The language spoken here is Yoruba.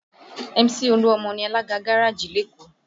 Mc olu-omo ni alága gárájì lékòó